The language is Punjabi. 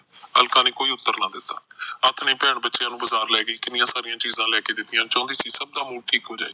ਅਲਕਾ ਨੇ ਕੋਈ ਉੱਤਰ ਨਾਂ ਦਿੱਤਾ ਆਥਣੇ ਭੈਣ ਬੱਚਿਆਂ ਨੂੰ ਬਜਾਰ ਲੈ ਗਈ ਕਿੰਨੀਆ ਸਾਰੀਆਂ ਚੀਜਾ ਲੈ ਕੇ ਦਿੱਤੀਆਂ ਚੋਂਦੀ ਸੀ ਕੇ ਸਬ ਦਾ ਮੂਡ ਠੀਕ ਹੋ ਜਾਵੇ